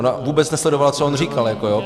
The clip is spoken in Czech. Ona vůbec nesledovala, co on říkal.